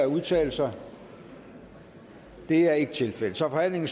udtale sig det er ikke tilfældet så forhandlingen